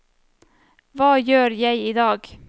hva gjør jeg idag